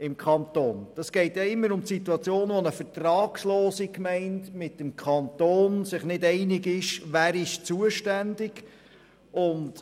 Es geht bekanntlich stets darum, dass sich eine vertragslose Gemeinde und der Kanton nicht einig sind, wer zuständig ist.